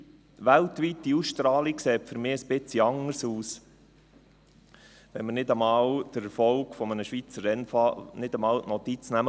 Weltweite Ausstrahlung sieht für mich etwas anders aus – wenn wir nicht einmal vom Erfolg eines Schweizer Rennfahrers Notiz nehmen.